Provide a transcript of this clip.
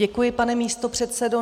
Děkuji, pane místopředsedo.